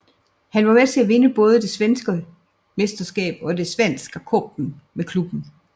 Han var med til at vinde både det svenske mesterskab og Svenska Cupen med klubben